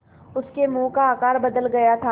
उसके मुँह का आकार बदल गया था